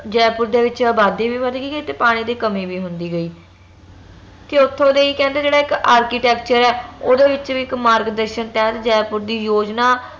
ਜੈਪੁਰ ਦੇ ਵਿਚ ਅਬਾਦੀ ਵੀ ਵਧਦੀ ਗਈ ਤੇ ਪਾਣੀ ਦੀ ਕਮੀ ਵੀ ਹੁੰਦੀ ਗਈ ਤੇ ਓਥੋਂ ਦਾ ਹੀ ਕਹਿੰਦੇ ਜਿਹੜਾ ਇਕ architecture ਆ ਓਂਹਦੇ ਵਿਚ ਵੀ ਇਕ ਮਾਰਗਦਰਸ਼ਕ ਤਹਤ ਜੈਪੁਰ ਦੀ ਯੋਜਨਾ